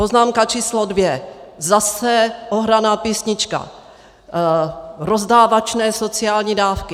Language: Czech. Poznámka číslo dvě, zase ohraná písnička - rozdávačné sociální dávky.